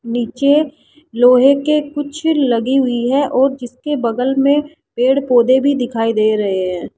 नीचे लोहे के कुछ लगी हुई है और जिसके बगल में पेड़ पौधे भी दिखाई दे रहे हैं।